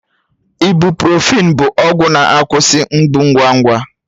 Ibụ́profị́n bụ ọgwụ na-akwụsị mgbu ngwa